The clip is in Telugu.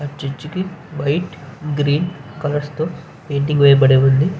ఆ చర్చి కి వైట్ కలర్స్ తో పెయింటింగ్ వేయబడి ఉంది.